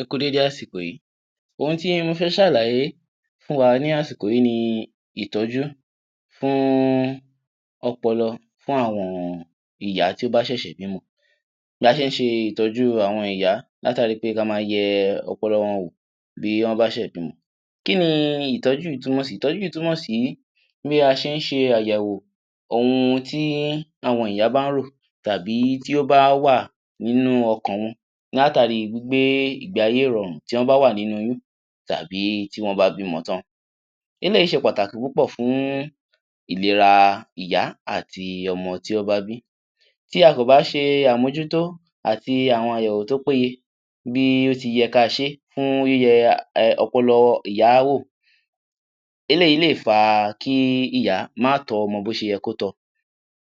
Ẹ kú déédé àsìkò yìí. Ohun tí mo fẹ́ ṣàlàyé fún wa ni àsìkò yìí ní ìtọ́jú fún ọpọlọ fún àwọn ìyá tí ó bà ṣẹ̀ṣẹ̀ bímọ. Bí a ṣe ìtọ́jú fún àwọn ìyá látàrí pé kí a máa yẹ ọpọlọ wò bí wọn bá ṣẹ̀ bímọ. Kí ni ìtọ́jú yìí túmọ̀ sí?. Ìtọ́jú yìí túmọ̀ sí bí a ṣe ń ṣe àyẹ̀wò ohun tí àwọn ìyá bá ń rò tàbí tí o bá wà nínú ọkàn wọn látàrí pé gbígbé ìgbé ayé ìrọ̀rùn tí wọ́n bá wà nínú oyún tàbí tí wọn bá bímọ tán. Eléyìí ṣe pàtàkì púpọ̀ fún ìlera ìyá àti ọmọ tí wọn bá bí i. Tí a kò bá ṣe àmójútó àti àwọn àyẹ̀wò tó péyẹ bí ó tí yẹ kí a ṣe fún yíyẹ ọpọlọ ìyá wò, eléyìí lè fa kí ìyá má tọ́ ọmọ bí ó ṣe yẹ kí ó tọ́ ọ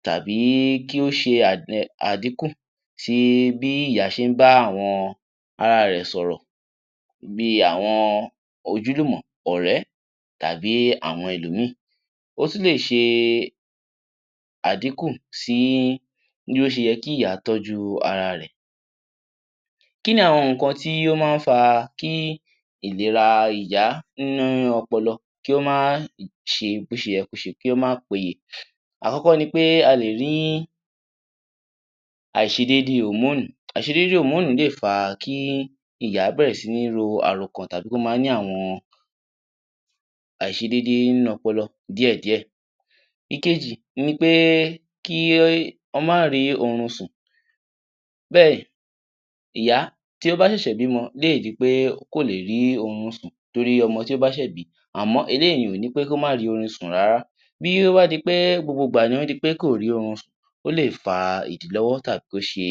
tàbí kí ó ṣe àdínkù bí ìyá ṣe ń bá àwọn ara rẹ̀ sọ̀rọ̀. Bí àwọn ojúlùmọ̀, ọ̀rẹ́ tàbí àwọn ẹlòmí. O tún lè ṣe àdínkú sí bí ó ṣe yẹ kí ìyá tọ́jú ara rẹ̀. Kí ni àwọn nǹkan tí ó máa ń fa kí ìlera ìyá nínú ọpọlọ kí ó mà kí ó máa ṣe bí ó ṣe yẹ kí ó ṣe kí ó má pẹ́yẹ; Àkọ́kọ́ ni pé, a lè rí àìṣedéédé òmónùú. Àìṣedéédé òmónùú lè fa kí ìyá bẹ̀rẹ̀ sí ní ro àròkan tàbí kí ó máa ní àwọn àìṣedéédé nínú ọpọlọ díẹ̀ díẹ̀. Ìkejì ni pé kí wọn má rí oorun sùn. Bẹ́ẹ̀, ìyá tí ó bá ṣẹ̀ṣẹ̀ bímọ lè di pé kò lè ri oorun sùn torí ọmọ tí ó bá ṣẹ̀ bí. Àmọ́ eléyìí ò ní pé kí ó má rí oorun sùn rárá. Bí o bá di pé gbogbo ìgbà ní o di pé kò rí oorun sùn ó lè fa ìdílọ́wọ́ tàbí kí ó ṣe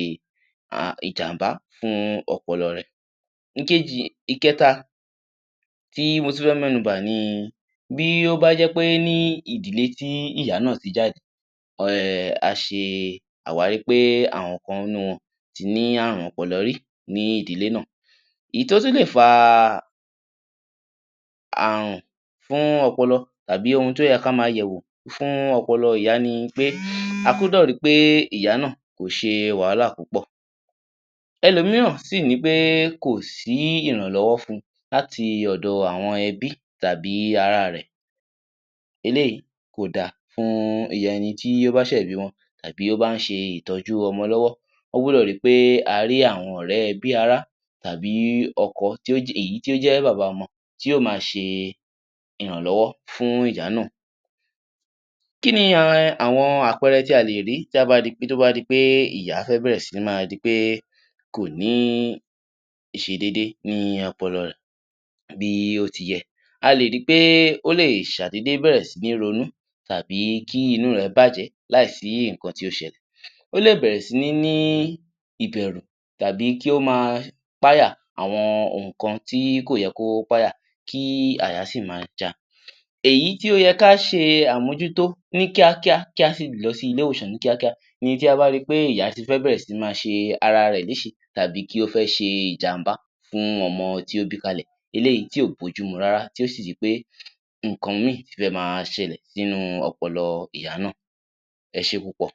ìjàmbá fún ọpọlọ rẹ̀. Ìkejì, Ìkẹta. Tí mo tún fẹ́ mẹ́nu bà ní bí o bá jẹ́ pé ní ìdílé tí ìyá náà tí jáde um a ṣe àwárí pé àwọn kan nú wọn tí ní àrùn ọpọlọ rí ní ìdílé náà. Èyí tí o tún lè fa àrùn fún ọpọlọ tàbí ohun tí ó yẹ kí á máa yẹ̀wò fún ọpọlọ ìyá ni pé a gbọ́dọ̀ rí pé ìyá náà kò ṣe wàhálà púpọ̀. Ẹlòmíràn sì ní pé kò sí ìrànlọ́wọ́ fún un láti ọ̀dọ̀ àwọn ẹbí tàbí àwọn ara rẹ̀. Eléyìí kò da fún ẹni tí ó bá ṣè bímọ tàbí ó bá ṣe ìtọ́jú ọmọ lọ́wọ́. Wọ́n gbọ́dọ̀ rí pé a rí àwọn ọ̀rẹ́, ẹbí, ará tàbí ọkọ èyí tí ó jẹ́ bàbá ọmọ tí yóò máa ṣe ìrànlọ́wọ́ fún ìyá náà. Kí ni àwọn àpẹẹrẹ tí a lè rí tá bá di pé, tí ó bá di pé ìyá fẹ́ bẹ̀rẹ̀ sí ní máa di pé kò ní àìṣedéédé ní ọpọlọ rẹ̀ bí ó ti yẹ. A lè rí pé ó lè ṣàìdéédé bẹ̀rẹ̀ sí ní ronú tàbí kí inú rẹ̀ bàjẹ́ láìsí nǹkan tí o ṣẹ̀lẹ̀. Ó lè bẹ̀rẹ̀ sí ní ní ìbẹ̀rù tàbí kí ó máa páyà àwọn òkan tí kò yẹ kí ó páyà kí àyà sí máa ja a. Èyí tí ó yẹ kí a ṣe àmójútó ní kíákíá kí a sì lọ sí ilé-ìwòsàn ní kíákíá ní tí a bá rí pé ìyá tí fẹ́ bẹ̀rẹ̀ sí ní máa ṣe ara rẹ̀ léṣe tàbí kí ó bá fẹ́ ṣe ìjàm̀bá fún ọmọ tí ó bí kalẹ̀. Eléyìí tí kò bá ojú mú rárá tí ò sì di pé nǹkan mí tí fẹ́ máa ṣẹ̀lẹ̀ si inú ọpọlọ ìyá náà. Ẹ ṣé púpọ̀.